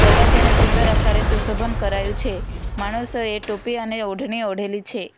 દરવાજાને સુંદર આકારે સુશોભન કરાયુ છે માણસોએ ટોપી અને ઓઢણી ઓઢેલી છે.